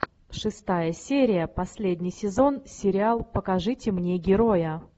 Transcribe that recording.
шестая серия последний сезон сериал покажите мне героя